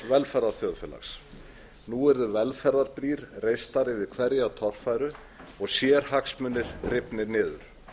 til norræns velferðarþjóðfélags nú yrðu velferðarbrýr reistar yfir hverja torfæru og sérhagsmunir dregnir niður